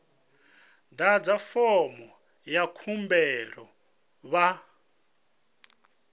ḓadze fomo ya khumbelo vha